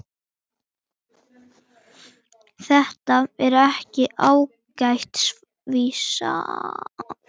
var hann þyrstur þó.